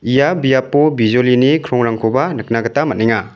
ia biapo bijolini krongrangkoba nikna gita man·enga.